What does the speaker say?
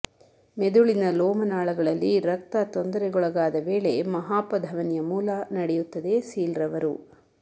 ಮೆದುಳಿನ ಲೋಮನಾಳಗಳಲ್ಲಿ ರಕ್ತ ತೊಂದರೆಗೊಳಗಾದ ವೇಳೆ ಮಹಾಪಧಮನಿಯ ಮೂಲ ನಡೆಯುತ್ತದೆ ಸೀಲ್ರವರು